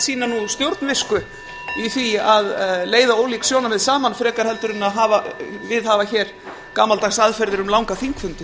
sýna stjórnvisku í því að leiða ólík sjónarmið saman frekar en að viðhafa hér gamaldags aðferðir um langa þingfundi